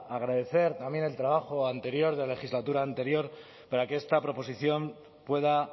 agradecer también el trabajo anterior de legislatura anterior para que esta proposición pueda